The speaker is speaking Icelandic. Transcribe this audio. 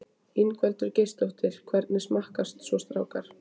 Ingveldur Geirsdóttir: Hvernig smakkast svo strákar?